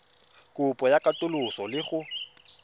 kopo ya katoloso le go